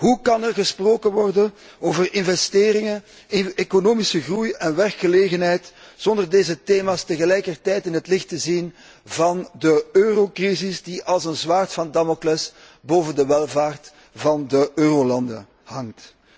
Hoe kan er gesproken worden over investeringen, economische groei en werkgelegenheid zonder deze thema's tegelijkertijd in het licht te zien van de eurocrisis, die als een zwaard van Damocles boven de welvaart van de eurolanden hangt.